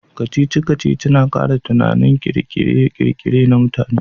Kacici-kacici na kara tunanin kirkire-kirkire na mutane.